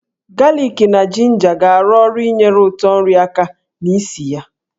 Galik na jinja ga-arụ ọrụ inyere ụtọ nri aka na ísì ya.